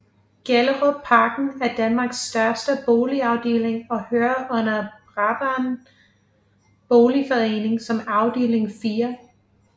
Gellerupparken er Danmarks største boligafdeling og hører under Brabrand Boligforening som afdeling 4